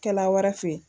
Kɛla wɛrɛ fe ye